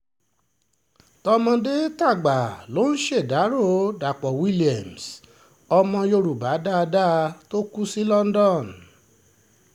tọmọdé-tàgbà ló ń ṣèdàrọ́ dapò williams ọmọ yorùbá dáadáa tó kù sí london